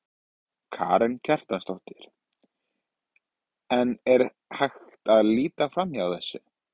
Karen Kjartansdóttir: En er hægt að líta framhjá þessu?